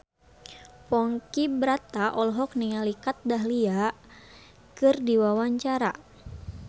Ponky Brata olohok ningali Kat Dahlia keur diwawancara